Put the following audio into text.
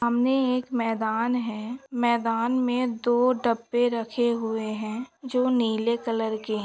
सामने एक मैदान है। मैदान मे दो डब्बे रखे हुए है। जो नीले कलर के है।